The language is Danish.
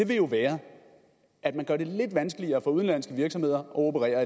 vil jo være at man gør det lidt vanskeligere for udenlandske virksomheder at operere